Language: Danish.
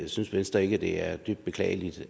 synes venstre ikke at det er dybt beklageligt